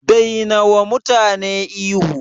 Dai nawa mutane ihu